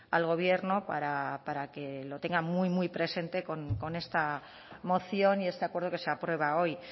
al gobierno para que lo tenga muy presente con esta moción y este acuerdo que se aprueba hoy